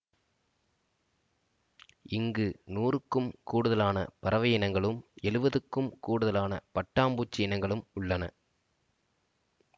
இங்கு நூறுக்கும் கூடுதலான பறவையினங்களும் எழுபதுக்கும் கூடுதலான பட்டாம்பூச்சி இனங்களும் உள்ளன